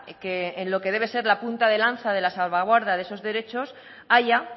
que en lo que debe ser la punta de lanza de la salvaguarda de esos derechos haya